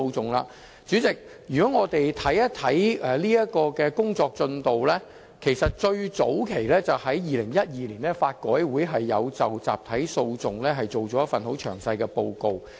代理主席，這方面的最早期工作其實是在2012年，法律改革委員會就集體訴訟作出了一份內容很詳細的報告。